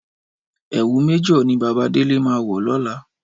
Ẹ̀wù Méjọ̀ ni Bàbá Délé máa wọ̀ lọ́la.